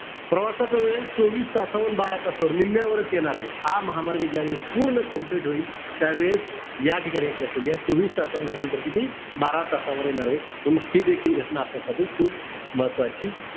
प्रवासाचा वेळ चोवीस तासाहून बारा तासावर, निम्म्यावर येणार आहे. हा महामार्ग ज्यावेळेस पूर्ण complete होईल, त्यावेळेस या ठिकाणी एक लक्षात घ्या. चोवीस तासाहून हे अंतर किती? बारा तासावर येणार आहे. हि देखील घटना आपल्यासाठी खूप महत्वाची,